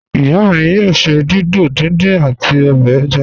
Iya mi yoo ṣe dídò díndín ati obè ẹ̀já.